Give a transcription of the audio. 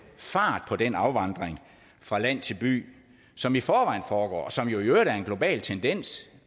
fart på den afvandring fra land til by som i forvejen foregår og som jo i øvrigt er en global tendens